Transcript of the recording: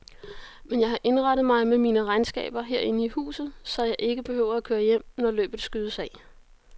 Men jeg har indrettet mig med mine regnskaber herinde i huset, så jeg ikke behøver at køre hjem, når løbet skydes af.